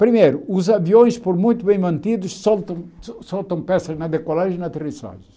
Primeiro, os aviões, por muito bem mantidos, soltam soltam peças na decolagem e na aterrissagem.